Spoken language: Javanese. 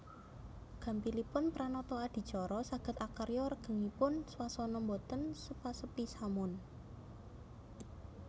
Gampilipun pranata adicara saged akarya regenging swasana boten sepa sepi samun